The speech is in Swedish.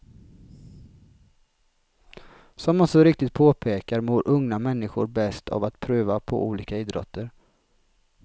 Som han så riktigt påpekar mår unga människor bäst av att pröva på olika idrotter.